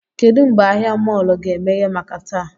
Kedụ mgbe ahịa mọọlụ ga-emeghe maka taa?